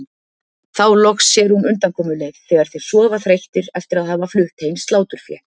Þá loks sér hún undankomuleið þegar þeir sofa þreyttir eftir að hafa flutt heim sláturfé.